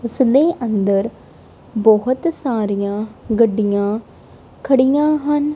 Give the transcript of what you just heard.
ਉਸਦੇ ਅੰਦਰ ਬਹੁਤ ਸਾਰੀਆਂ ਗੱਡੀਆਂ ਖੜੀਆਂ ਹਨ।